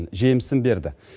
жемісін берді